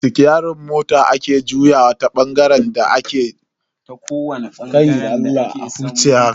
Sitiyerin mota ne ake juyawa ta kowani bangaren da ake so mota tabi.